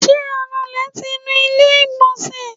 ti anulè ti nú ilé igbonse?